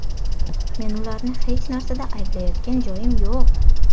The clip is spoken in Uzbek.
Men ularni hech narsada ayblayotgan joyim yo‘q.